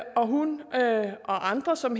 og hun og andre som